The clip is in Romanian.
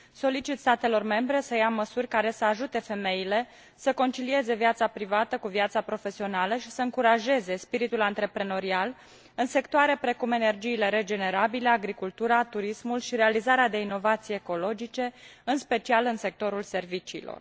Solicit statelor membre să ia măsuri care să ajute femeile să concilieze viața privată cu viața profesională și să încurajeze spiritul antreprenorial în sectoare precum energiile regenerabile, agricultura, turismul și realizarea de inovații ecologice, în special în sectorul serviciilor.